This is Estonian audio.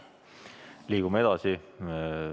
Liigume edasi.